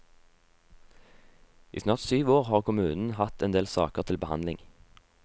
I snart syv år har kommunen hatt endel saker til behandling.